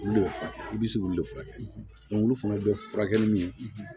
Olu le furakɛ i bi se k'olu de furakɛ olu fana bɛ furakɛ ni min ye